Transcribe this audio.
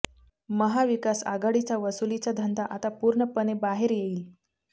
महाविकास आघाडीचा वसुलीचा धंदा आता पूर्णपणे बाहेर येईल